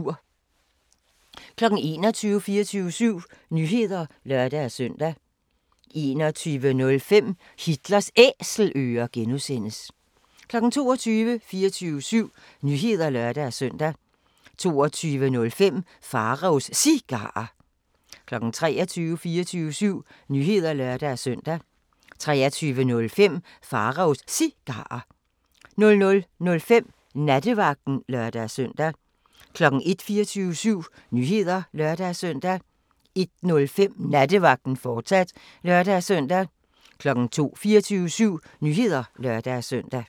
21:00: 24syv Nyheder (lør-søn) 21:05: Hitlers Æselører (G) 22:00: 24syv Nyheder (lør-søn) 22:05: Pharaos Cigarer 23:00: 24syv Nyheder (lør-søn) 23:05: Pharaos Cigarer 00:05: Nattevagten (lør-søn) 01:00: 24syv Nyheder (lør-søn) 01:05: Nattevagten, fortsat (lør-søn) 02:00: 24syv Nyheder (lør-søn)